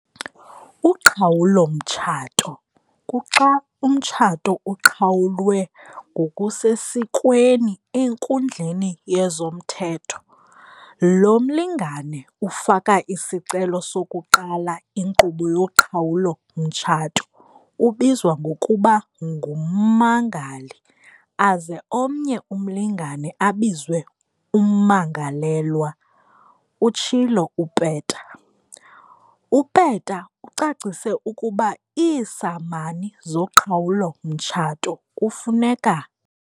"Uqhawulo-mtshato kuxa umtshato uqhawulwe ngokusesikweni enkundleni yezomthetho. Lo mlingane ufaka isicelo sokuqala inkqubo yoqhawulo-mtshato ubizwa ngokuba ngummangali aze omnye umlingane abizwe ummangalelwa," utshilo uPeta. UPeta ucacise ukuba iisamani zoqhawulo-mtshato kufuneka.